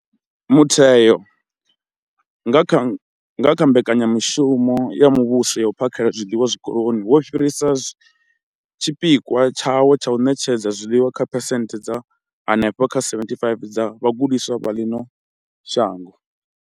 Mutheo, nga kha nga kha mbekanyamushumo ya muvhuso ya u phakhela zwiḽiwa zwikoloni, wo fhirisa tshipikwa tshawo tsha u ṋetshedza zwiḽiwa kha phesenthe dza henefha kha 75 dza vhagudiswa vha ḽino shango.